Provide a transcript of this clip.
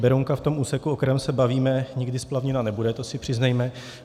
Berounka v tom úseku, o kterém se bavíme, nikdy splavněna nebude, to si přiznejme.